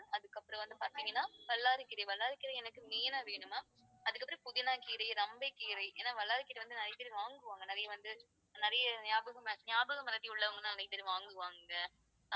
அதுக்குப்புறம் வந்து பாத்தீங்கன்னா வல்லாரைக்கீரை, வல்லாரைக்கீரை எனக்கு main ஆ வேணும் ma'am. அதுக்கப்புறம் புதினாக்கீரை, ரம்பைக் கீரை, ஏன்னா வல்லாரைக்கீரை வந்து நிறைய பேர் வாங்குவாங்க, நிறைய வந்து, நிறைய ஞாபகமற~ ஞாபகமறதி உள்ளவங்க நிறைய பேர் வாங்குவாங்க